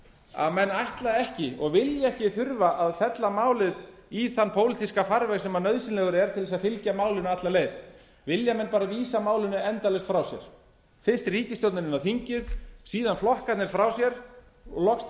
að menn ætla ekki og vilja ekki þurfa að fella málið í þann pólitíska farveg sem nauðsynlegur er til að fylgja málinu alla leið vilja menn vísa málinu endalaust frá sér fyrst ríkisstjórnin inn á þingið síðan flokkarnir frá sér og loks til